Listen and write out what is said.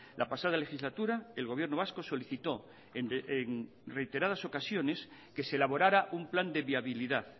la pasada legislatura el gobierno vasco solicitó en reiteradas ocasiones que se elaborara un plan de viabilidad